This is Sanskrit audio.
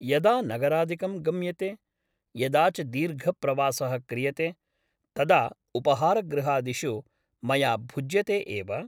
यदा नगरादिकं गम्यते यदा च दीर्घप्रवासः क्रियते तदा उपाहारगृहादिषु मया भुज्यते एव ।